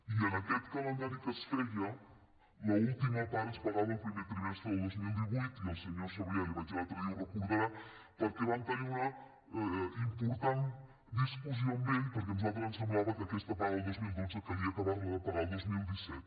i en aquest calendari que es feia l’última part es pagava el primer trimestre del dos mil divuit i al senyor sabrià li ho vaig dir l’altre dia ho deurà recordar perquè vaig tenir una important discussió amb ell perquè a nosaltres ens semblava que aquesta paga del dos mil dotze calia acabar la de pagar el dos mil disset